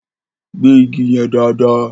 Gbẹ́ igi yẹn dáàdaa!